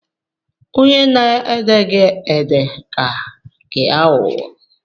Onye na-ede gị ede ka gị aghụghọ